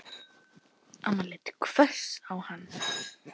Amma leit hvöss á hann.